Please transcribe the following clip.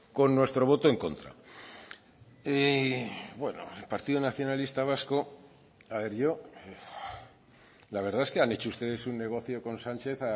con nuestro voto en contra y bueno el partido nacionalistas vasco a ver yo la verdad es que han hecho ustedes un negocio con sánchez